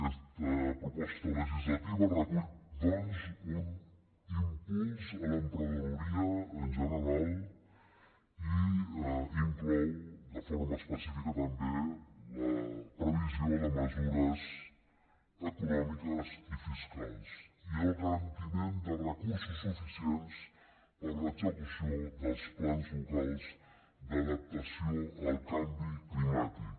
aquesta proposta legislativa recull doncs un impuls a l’emprenedoria en general i inclou de forma específica també la previsió de mesures econòmiques i fiscals i el garantiment de recursos suficients per a l’execució dels plans locals d’adaptació al canvi climàtic